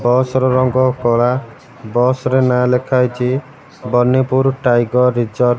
ବସ ର ରଙ୍ଗ କଳା ବସ ରେ ନା ଲେଖାହେଇଚି। Banipur tiger reserve.